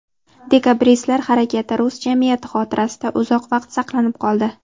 Dekabristlar harakati rus jamiyati xotirasida uzoq vaqt saqlanib qoldi.